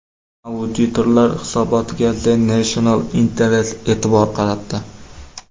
Auditorlar hisobotiga The National Interest e’tibor qaratdi .